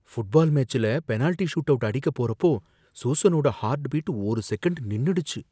Football மேட்ச்ல penalty shootout அடிக்கப் போறப்போ சூசனோட ஹார்ட் பீட் ஒரு செகன்ட் நின்னுடுச்சு.